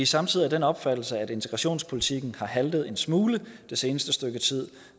samtidig af den opfattelse at integrationspolitikken har haltet en smule det seneste stykke tid